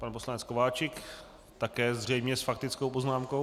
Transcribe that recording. Pan poslanec Kováčik, také zřejmě s faktickou poznámkou.